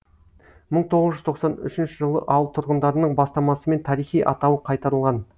мың тоғыз жүз тоқсан үшінші жылы ауыл тұрғындарының бастамасымен тарихи атауы қайтарылған